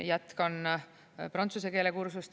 Jätkan prantsuse keele kursust.